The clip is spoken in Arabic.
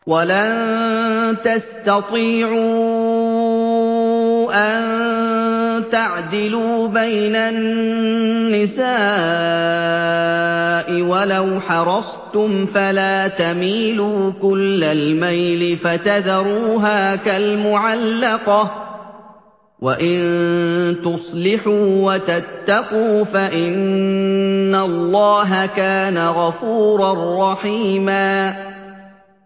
وَلَن تَسْتَطِيعُوا أَن تَعْدِلُوا بَيْنَ النِّسَاءِ وَلَوْ حَرَصْتُمْ ۖ فَلَا تَمِيلُوا كُلَّ الْمَيْلِ فَتَذَرُوهَا كَالْمُعَلَّقَةِ ۚ وَإِن تُصْلِحُوا وَتَتَّقُوا فَإِنَّ اللَّهَ كَانَ غَفُورًا رَّحِيمًا